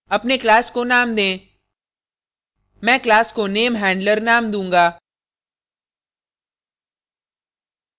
अपने class को name दें मैं class को namehandler name दूँगा